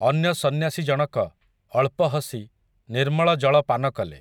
ଅନ୍ୟ ସନ୍ୟାସୀ ଜଣକ, ଅଳ୍ପ ହସି, ନିର୍ମଳ ଜଳ ପାନ କଲେ ।